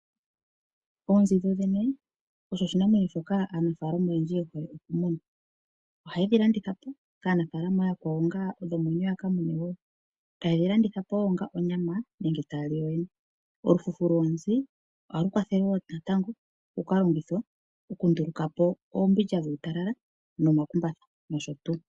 Oonzi dhodhene osho oshinamwenyo shoka aanafalama oyendji ye hole okumuna. Ohaye dhi landitha po kaanafalama ooyakwawo onga dhomwenyo ya kamune wo. Taye dhi landitha po wo onga onyama nenge taye dhi landithapo nenge taya li yoyene. Olufufu loonzi ohalu kwathele wo natango oku ka longithwa, okunduluka po oombindja dhuutalala nomakumbatha nosho tuu.